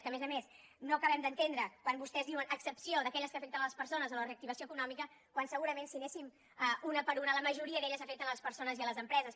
que a més a més no acabem d’entendre quan vostès diuen a excepció d’aquelles que afecten les persones o la reactivació econòmica quan segurament si anéssim una per una la majoria d’elles afecten les persones i les empreses